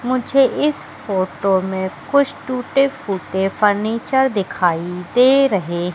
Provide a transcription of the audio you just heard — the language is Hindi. मुझे इस फोटो मे कुछ टूटे फूटे फर्नीचर दिखाई दे रहे--